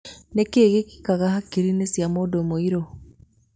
Nĩkĩĩ gĩkĩkaga hakiri-nĩ cia mũndũmũrĩu?